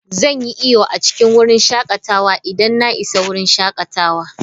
Zan yi iyo a cikin wurin shakatawa idan na isa wurin shakatawa.